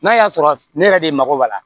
N'a y'a sɔrɔ ne yɛrɛ de mago b'a la